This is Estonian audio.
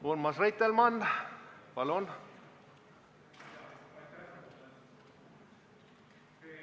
Urmas Reitelmann, palun!